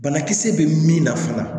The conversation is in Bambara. Banakisɛ bɛ min na fana